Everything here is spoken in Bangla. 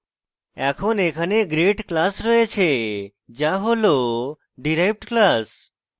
এখন এখানে grade class রয়েছে যা হল derived class